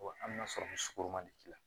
an bɛ na sɔrɔ ni sukoro ma deli